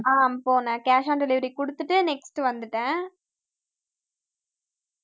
ஆஹ் போனேன் cash on delivery குடுத்துட்டு next வந்துட்டேன்